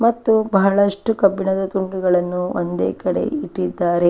ಮತ್ತು ಬಹಳಷ್ಟು ಕಬ್ಬಿಣದ ತುಂಡುಗಳನ್ನು ಒಂದೇ ಕಡೆ ಇಟ್ಟಿದ್ದಾರೆ.